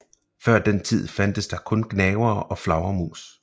Før den tid fandtes der kun gnavere og flagermus